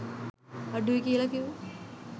අඩුයි කියලා කිව්වෙ.